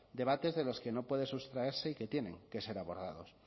debates de los que no puede sustraerse y que tienen que ser abordados